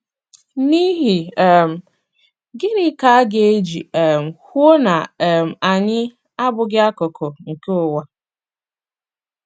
N’ihi um gịnị ka aga eji um kwuo na um anyị “ abụghị akụkụ nke ụwa ”??